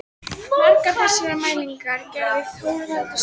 Margar þessara mælinga gerði Þorvaldur sjálfur.